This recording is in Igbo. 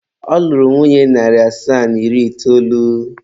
Ọ lụrụ nwunye narị asaa na iri itoolu.